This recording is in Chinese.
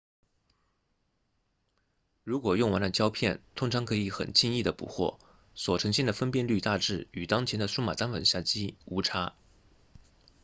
如果用完了胶片通常可以很轻易地补货所呈现的分辨率大致与当前的数码单反相机无差